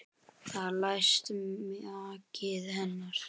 Þar lést maki hennar.